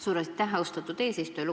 Suur aitäh, austatud eesistuja!